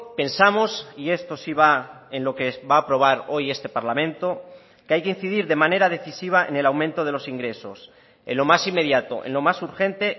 pensamos y esto sí va en lo que va a aprobar hoy este parlamento que hay que incidir de manera decisiva en el aumento de los ingresos en lo más inmediato en lo más urgente